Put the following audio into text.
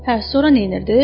Hə, sonra neynirdi?